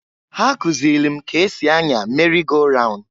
Ha kụzịlị m k'esi anya meri go raun.